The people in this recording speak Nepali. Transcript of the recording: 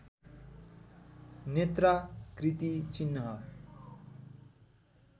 नेत्राकृति चिह्न